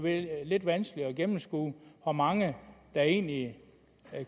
lidt vanskeligt at gennemskue hvor mange der egentlig